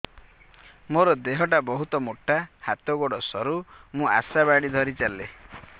ମୋର ଦେହ ଟା ବହୁତ ମୋଟା ହାତ ଗୋଡ଼ ସରୁ ମୁ ଆଶା ବାଡ଼ି ଧରି ଚାଲେ